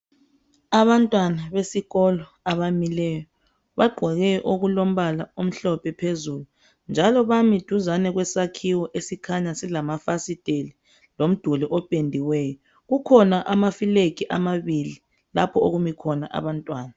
Abantwana besikolo abamileyo bagqoke okulombala omhlophe phezulu. Njalo bami duzane kwesakhiwo esikhanya silamafasitela lomduli ophendiweyo. Kukhona ama filegi amabili lapho okumi khona abantwana.